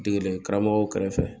Degeden karamɔkɔw kɛrɛfɛ